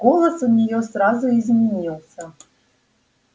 голос у нее сразу изменился